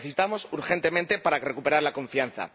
Lo necesitamos urgentemente para recuperar la confianza.